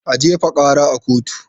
A jefa karar a kotu!